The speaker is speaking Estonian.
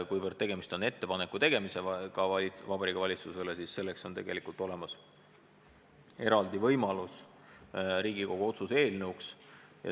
Kuivõrd tegemist on Vabariigi Valitsusele ettepaneku tegemisega, siis selleks on olemas eraldi võimalus – Riigikogu otsuse eelnõu.